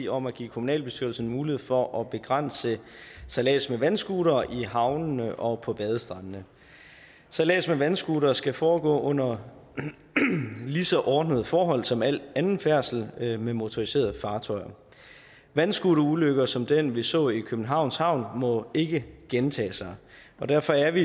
om at give kommunalbestyrelserne mulighed for at begrænse sejlads med vandscooter i havnene og på badestrandene sejlads med vandscooter skal foregå under lige så ordnede forhold som al anden færdsel med med motoriserede fartøjer en vandscooterulykke som den vi så i københavns havn må ikke gentage sig derfor er